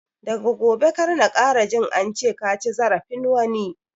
Daga gobe kar na ƙara jin ance kaci zarafin wani!